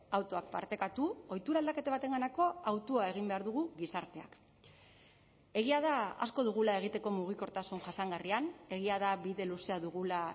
autoak partekatu ohitura aldaketa batenganako hautua egin behar dugu gizarteak egia da asko dugula egiteko mugikortasun jasangarrian egia da bide luzea dugula